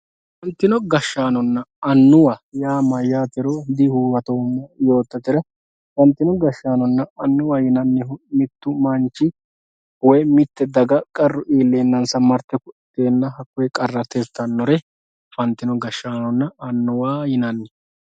afantino gashshanonna annuwa yaa mayaatero dihuwatoomo yoototera afantino gashshanonna annuwa yinannihu mittu manchi woye mitte daga qarru ileenansa marte ku'liteena hakoyee qarra tirtannori afantino gashshanonna annuwa yinanni.